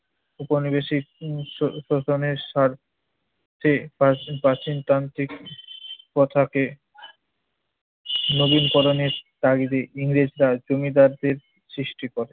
ঔপনিবেশিক শো~ শোষণের স্বার্থে প্রাচ~ প্রাচীনতান্ত্রিক প্রথাকে নবীন-পরানের তাগিদে ইংরেজরা জমিদারদের সৃষ্টি করে।